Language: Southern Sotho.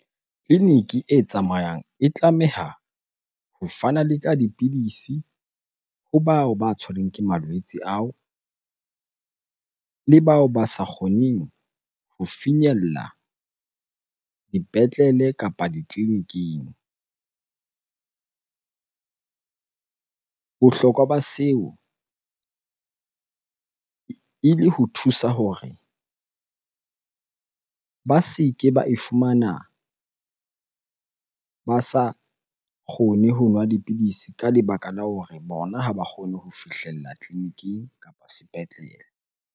Tleliniki e tsamayang e tlameha ho fana le ka dipidisi ho bao ba tshwereng ke malwetse ao le bao ba sa kgoneng ho finyella dipetlele kapa ditleliniking. Bohlokwa ba seo ele ho thusa hore ba se ke ba e fumana ba sa kgone ho nwa dipidisi ka lebaka la hore bona ha ba kgone ho fihlella tleliniking kapa sepetlele.